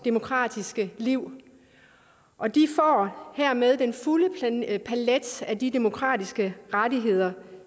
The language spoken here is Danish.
demokratiske liv og de får hermed den fulde palet af de demokratiske rettigheder